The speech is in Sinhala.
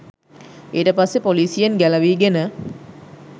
ඊටපස්සේ පොලිසියෙන් ගැළවීගෙන